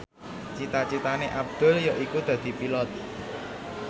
cita citane Abdul yaiku dadi Pilot